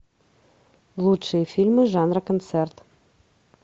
лучшие фильмы жанра концерт